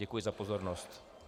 Děkuji za pozornost.